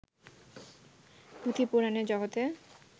পুঁথি-পুরাণের জগতে